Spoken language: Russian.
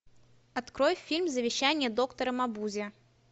открой фильм завещание доктора мабузе